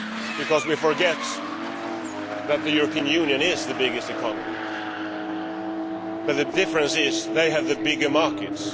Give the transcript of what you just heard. because we forget that the European Union is the biggest economy, but that China and the US have the bigger markets.